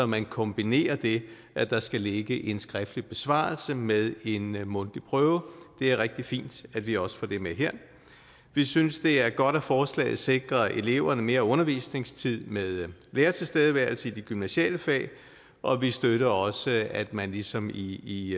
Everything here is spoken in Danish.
man kombinerer det at der skal ligge en skriftlig besvarelse med en mundtlig prøve det er rigtig fint at vi også får det med her vi synes det er godt at forslaget sikrer eleverne mere undervisningstid med lærertilstedeværelse i de gymnasiale fag og vi støtter også at man ligesom i